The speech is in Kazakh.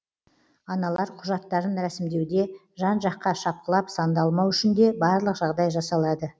аналар құжаттарын рәсімдеуде жан жаққа шапқылап сандалмау үшін де барлық жағдай жасалады